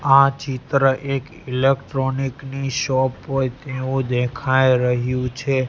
આ ચિત્ર એક ઇલેક્ટ્રોનિક ની શોપ હોઇ તેવુ દેખાય રહ્યુ છે.